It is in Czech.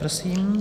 Prosím.